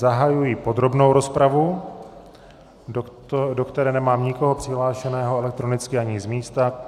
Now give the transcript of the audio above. Zahajuji podrobnou rozpravu, do které nemám nikoho přihlášeného elektronicky ani z místa.